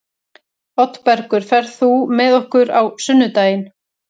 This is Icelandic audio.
Oddbergur, ferð þú með okkur á sunnudaginn?